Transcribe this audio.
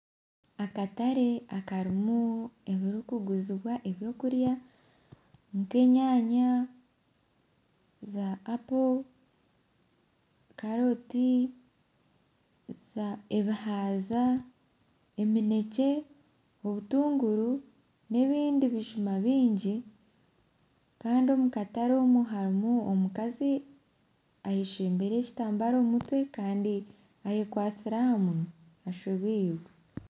Akatare akarimu ebyokuguzibwa ebyokurya, nk'enyaanya, za apo, karooti ebihaaza, eminekye, obutunguru n'ebindi bijuma bingi andi omu karate omukazi ayeshembire ekitambara aha mutwe kandi ayekwatsire aha munwa ashobirwe.